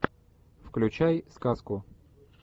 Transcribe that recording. включай сказку